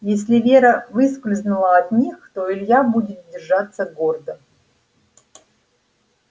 если вера выскользнула от них то илья будет держаться гордо